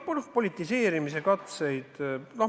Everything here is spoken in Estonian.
Noh, politiseerimise katseid on tehtud.